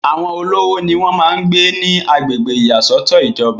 àwọn olówó ni wọ́n máa ń gbé ní agbègbè ìyàsọ́tọ̀ ìjọba